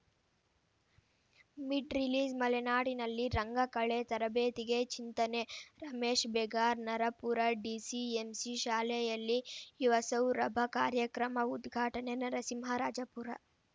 mid ರಿಲೀಸ್‌ಮಲೆನಾಡಿನಲ್ಲಿ ರಂಗಕಲೆ ತರಬೇತಿಗೆ ಚಿಂತನೆ ರಮೇಶ್‌ ಬೇಗಾರ್‌ ನರಾಪುರ ಡಿಸಿಎಂಸಿ ಶಾಲೆಯಲ್ಲಿ ಯುವಸೌರಭ ಕಾರ್ಯಕ್ರಮ ಉದ್ಘಾಟನೆ ನರಸಿಂಹರಾಜಪುರ